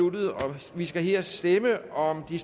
og vi skal her stemme om de